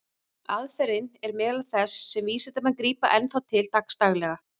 Aðferðin er meðal þess sem vísindamenn grípa enn þá til dagsdaglega.